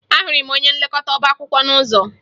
Ahụrụ m onye nlekọta ọbaakwụkwọ n'ụzọ